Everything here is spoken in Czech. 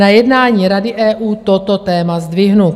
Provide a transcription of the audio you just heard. Na jednání Rady EU toto téma zdvihnu."